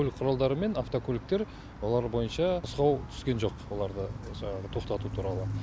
көлік құралдары мен автокөліктер олар бойынша нұсқау түскен жоқ оларды жаңағы тоқтату туралы